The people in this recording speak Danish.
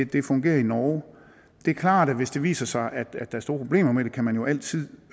det fungerer i norge det er klart at hvis det viser sig at der er store problemer med det kan man jo altid